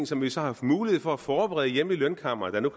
som vi så har haft mulighed for at forberede hjemme i lønkammeret